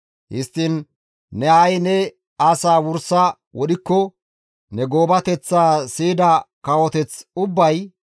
Histtiin ne ha7i ne asaa wursa wodhikko ne goobateththaa siyida kawoteth ubbay,